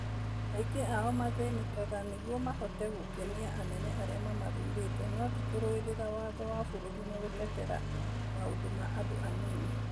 Aingĩ ao mathĩnĩkaga nĩguo mahote gũkenia anene arĩa mamathurĩte no ti kũrũĩrĩra watho wa bũrũri na gũtetera maũndo ma andũ anini.